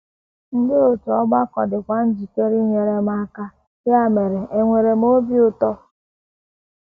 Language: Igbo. Ndị òtù ọgbakọ dịkwa njikere inyere m aka, ya mere enwere m obi ụtọ.